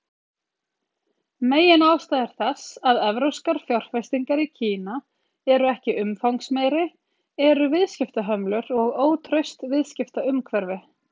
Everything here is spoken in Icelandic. Meginástæður þess að evrópskar fjárfestingar í Kína eru ekki umfangsmeiri eru viðskiptahömlur og ótraust viðskiptaumhverfi.